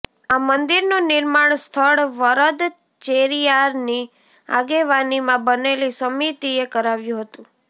આ મંદિરનું નિર્માણ સ્થળ વરદચેરીયારની આગેવાનીમાં બનેલી સમિતિએ કરાવ્યુ હતું